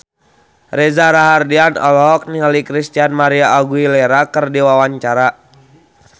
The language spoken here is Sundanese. Reza Rahardian olohok ningali Christina María Aguilera keur diwawancara